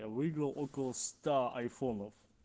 я выиграл около ста айфонов